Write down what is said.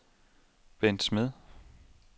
Bendt Smed